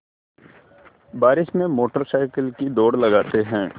बारिश में motor cycle की दौड़ लगाते हैं